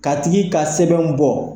Ka tigi ka sɛbɛnw bɔ.